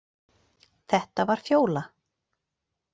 Þetta var Fjóla.